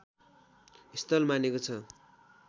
स्थल मानेको छ